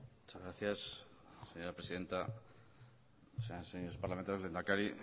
muchas gracias señora presidenta señoras y señores parlamentarios lehendakari